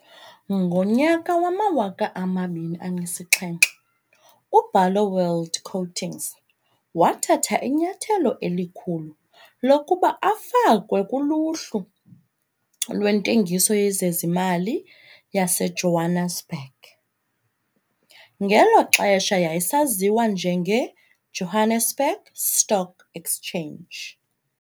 Ngo-2007, uBarloworld Coatings wathatha inyathelo elikhulu lokuba afakwe kuluhlu lwentengiso yezezimali yaseJohannesburg, ngelo xesha yayisaziwa njengeJohannesburg Stock Exchange.